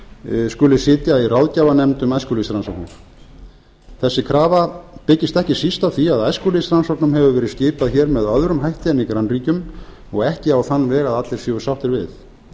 rannsóknarsamfélagsins skuli sitja í ráðgjafarnefnd um æskulýðsrannsóknir þessi krafa byggist ekki síst á því að æskulýðsrannsóknum hefur verið skipað hér með öðrum hætti en í grannríkjum og ekki á þann veg að allir séu sáttir við